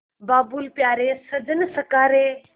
बाबुल प्यारे सजन सखा रे